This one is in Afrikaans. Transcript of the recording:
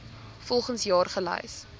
volgens jaar gelys